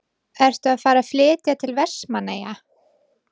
Ertu að fara að flytja til Vestmannaeyja?